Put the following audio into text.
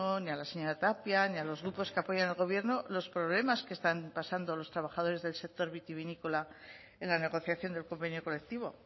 ni a la señora tapia ni a los grupos que apoyan al gobierno los problemas que están pasando los trabajadores del sector vitivinícola en la negociación del convenio colectivo